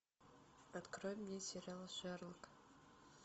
открой мне сериал шерлок